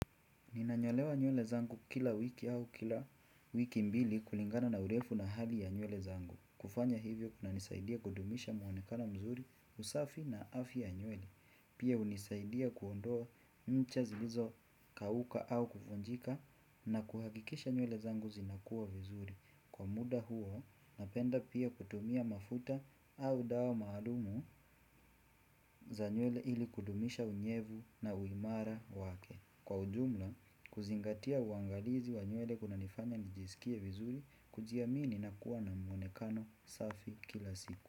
Ninanyolewa nywele zangu kila wiki au kila wiki mbili kulingana na urefu na hali ya nywele zangu. Kufanya hivyo kunanisaidia kudumisha mwonekano mzuri, usafi na afya ya nywele. Pia hunisaidia kuondoa ncha zilizokauka au kuvunjika na kuhakikisha nywele zangu zinakuwa vizuri. Kwa muda huo napenda pia kutumia mafuta au dawa maalumu za nywele ili kudumisha unyevu na uimara wake. Kwa ujumla kuzingatia uangalizi wa nywele kunanifanya nijisikie vizuri kujiamini na kuwa na mwonekano safi kila siku.